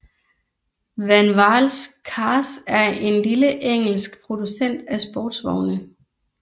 Vanwall Cars er en lille engelsk producent af sportsvogne